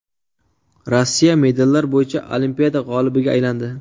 Rossiya medallar bo‘yicha Olimpiada g‘olibiga aylandi.